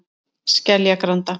Skeljagranda